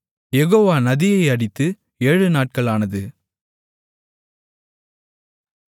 யெகோவா நதியை அடித்து ஏழுநாட்கள் ஆனது